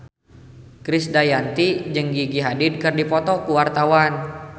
Krisdayanti jeung Gigi Hadid keur dipoto ku wartawan